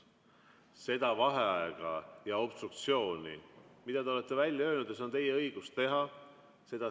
Seda obstruktsiooni, mida te olete välja öelnud, on teil õigus teha.